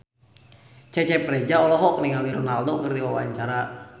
Cecep Reza olohok ningali Ronaldo keur diwawancara